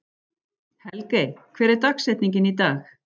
Helgey, hver er dagsetningin í dag?